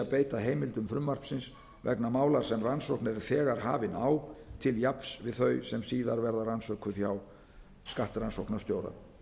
beita heimildum frumvarpsins vegna mála sem rannsókn er þegar hafin á til jafns við þau sem síðan verða rannsökuð hjá skattrannsóknastjóra